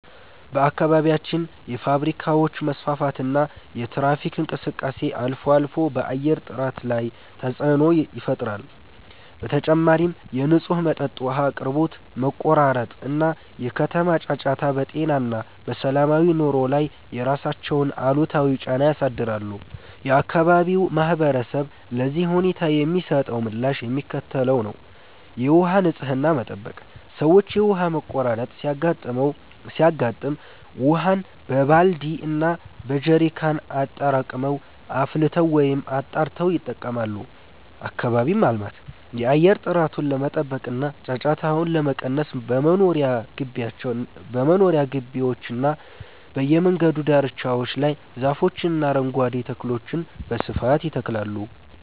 በአካባቢያችን የፋብሪካዎች መስፋፋትና የትራፊክ እንቅስቃሴ አልፎ አልፎ በአየር ጥራት ላይ ተፅዕኖ ይፈጥራል። በተጨማሪም የንጹህ መጠጥ ውሃ አቅርቦት መቆራረጥ እና የከተማ ጫጫታ በጤና እና በሰላማዊ ኑሮ ላይ የራሳቸውን አሉታዊ ጫና ያሳድራሉ። የአካባቢው ማህበረሰብ ለዚህ ሁኔታ የሚሰጠው ምላሽ የሚከተለው ነው፦ የውሃ ንፅህናን መጠበቅ፦ ሰዎች የውሃ መቆራረጥ ሲያጋጥም ውሃን በባልዲ እና በጀሪካን አጠራቅመው፣ አፍልተው ወይም አጣርተው ይጠቀማሉ። አካባቢን ማልማት፦ የአየር ጥራቱን ለመጠበቅ እና ጫጫታውን ለመቀነስ በመኖሪያ ግቢዎችና በየመንገዱ ዳርቻዎች ላይ ዛፎችንና አረንጓዴ ተክሎችን በስፋት ይተክላሉ።